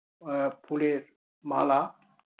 এএ ফুলের মালা